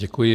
Děkuji.